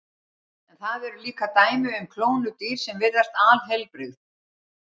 En það eru líka dæmi um klónuð dýr sem virðast alheilbrigð.